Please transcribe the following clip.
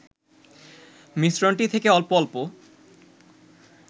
মিশ্রণটি থেকে অল্প অল্প